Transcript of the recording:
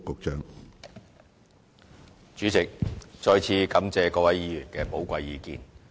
主席，再次感謝各位議員的寶貴意見。